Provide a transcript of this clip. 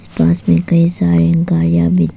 पास में कई सारी गाड़िया भी--